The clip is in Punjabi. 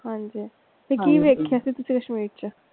ਹਾਂਜੀ ਤੇ ਕੀ ਵੇਖਿਆ ਸੀ ਤੁਸੀਂ ਕਸ਼ਮੀਰ ਚ?